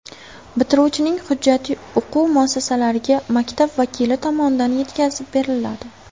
Bitiruvchining hujjati o‘quv muassasalariga maktab vakili tomonidan yetkazib beriladi.